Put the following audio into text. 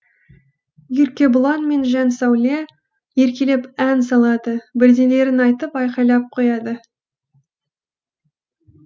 еркебұлан мен жансәуле еркелеп ән салады бірдеңелерін айтып айқайлап қояды